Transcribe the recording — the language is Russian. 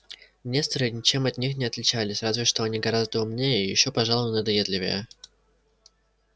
несторы ничем от них не отличались разве что они гораздо умнее и ещё пожалуй надоедливее